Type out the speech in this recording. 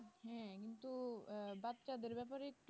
হ্যাঁ কিন্তু বাচ্ছাদের ব্যাপারে একটু